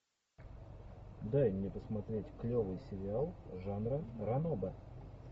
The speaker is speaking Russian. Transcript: дай мне посмотреть клевый сериал жанра ранобэ